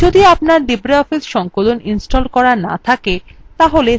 তাহলে synaptic package manager ব্যবহার করে impress ইনস্টল করতে পারেন